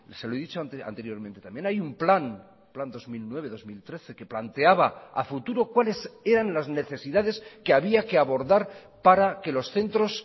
se lo he dicho anteriormente también hay un plan plan dos mil nueve dos mil trece que planteaba a futuro cuáles eran las necesidades que había que abordar para que los centros